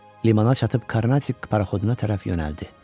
Limana çatıb Karnatik paraxoduna tərəf yönəldi.